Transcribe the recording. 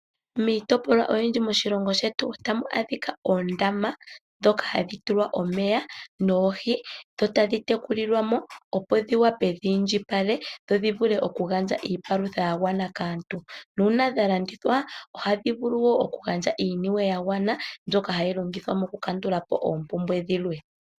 Miitopolwa oyindji moshilongo shetu otamu adhika oondama, ndhoka hadhi tulwa omeya, noohi, dho tadhi tekulilwa mo opo dhiwape dhi indjipale, dho dhivule okugandja iipalutha yagwana kaantu. Nuuna dha landithwa, ohadhi vulu wo oku gandja iiniwe yagwana, mbyoka hayi longithwa mokukandula po oompumwe dhilwe.